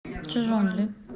чжунли